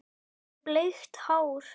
Með bleikt hár.